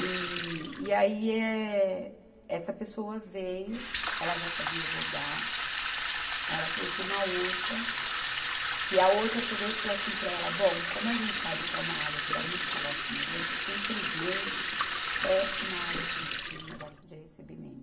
E, e aí, eh, essa pessoa veio, ela já sabia bordar, aí ela trouxe uma outra, que a outra pegou e falou assim para ela, bom, como a gente sabe que é uma área que dá muito calote na gente, porque, infelizmente, é uma área crítica no negócio de recebimento.